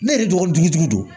Ne yɛrɛ dɔgɔnin jugu don